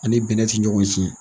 Ani bɛnɛ tɛ ɲɔgɔn cignɛn.